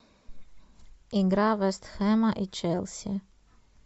игра вест хэма и челси